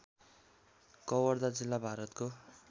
कवर्धा जिल्ला भारतको